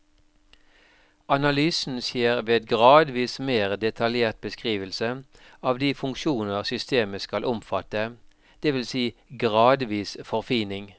Analysen skjer ved gradvis mer detaljert beskrivelse av de funksjoner systemet skal omfatte, det vil si gradvis forfining.